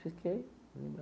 Fiquei.